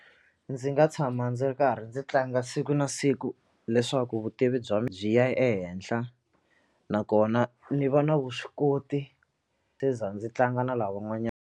Ndzi nga tshama ndzi ri karhi ndzi tlanga siku na siku leswaku vutivi bya mi byi ya ehenhla nakona ni va na vuswikoti ndzi tlanga na lavan'wanyana.